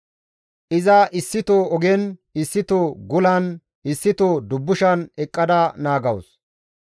Iza issito ogen, issito gulan, issito dubbushan eqqada naagawus.